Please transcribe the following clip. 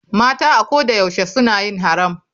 Mata a ko da yaushe suna yin haram.